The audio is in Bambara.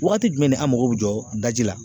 Waati jumɛn ni an mako bɛ jɔ daji la